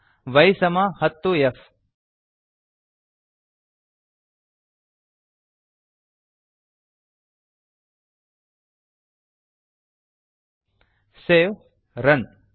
y10f Y ಸಮ ಹತ್ತು F save run